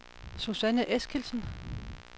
Susanne Eskildsen